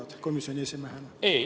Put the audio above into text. Mida sa komisjoni esimehena arvad?